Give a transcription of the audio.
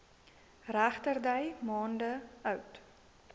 regterdy maande oud